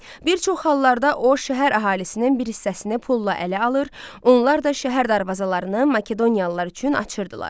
Bir çox hallarda o şəhər əhalisinin bir hissəsini pulla ələ alır, onlar da şəhər darvazalarını Makedoniyalılar üçün açırdılar.